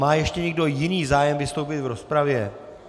Má ještě někdo jiný zájem vystoupit v rozpravě?